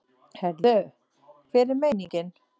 Heyrðu, hver er meiningin?